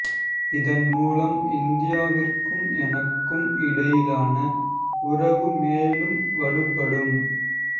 இதன் மூலம் இந்தியாவிற்கும் எமக்கும் இடையிலான உறவு மேலும் வலுப்படும்